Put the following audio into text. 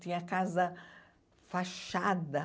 Tinha casa fachada.